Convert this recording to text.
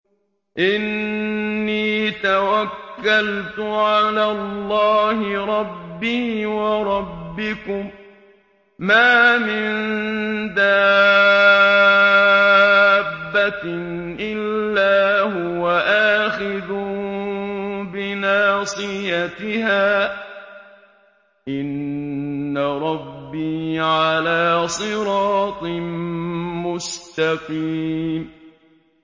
إِنِّي تَوَكَّلْتُ عَلَى اللَّهِ رَبِّي وَرَبِّكُم ۚ مَّا مِن دَابَّةٍ إِلَّا هُوَ آخِذٌ بِنَاصِيَتِهَا ۚ إِنَّ رَبِّي عَلَىٰ صِرَاطٍ مُّسْتَقِيمٍ